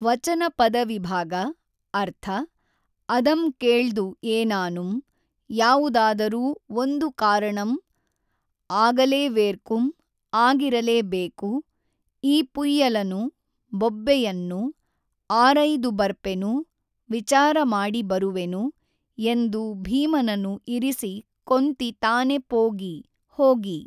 ವಚನ ಪದವಿಭಾಗ ಅರ್ಥ ಅದಂ ಕೇಳ್ದು ಏನಾನುಮ್ ಯಾವುದಾದರೂ ಒಂದು ಕಾರಣಂ ಆಗಲೆವೇೞ್ಕುಂ ಆಗಿರಲೇಬೇಕು ಈ ಪುಯ್ಯಲನು ಬೊಬ್ಬೆಯನ್ನು ಆರಯ್ದು ಬರ್ಪೆನು ವಿಚಾರಮಾಡಿ ಬರುವೆನು ಎಂದು ಭೀಮನನು ಇರಿಸಿ ಕೊಂತಿ ತಾನೆ ಪೋಗಿ ಹೋಗಿ